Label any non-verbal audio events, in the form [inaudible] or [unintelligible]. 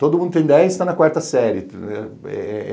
Todo mundo tem dez e está na quarta série. [unintelligible]